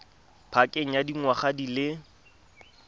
pakeng ya dingwaga di le